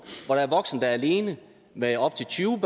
hvor der er voksne der er alene med op til tyve